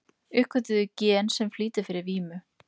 Uppgötvuðu gen sem flýtir fyrir vímu